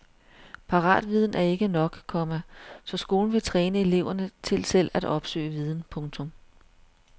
Paratviden er ikke nok, komma så skolen vil træne eleverne til selv at opsøge viden. punktum